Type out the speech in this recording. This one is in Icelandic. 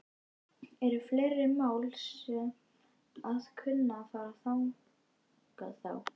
Eru fleiri mál sem að kunna að fara þangað þá?